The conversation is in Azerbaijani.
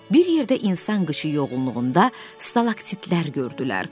Bir yerdə insan qışı yoğunluğunda stalaktitlər gördülər.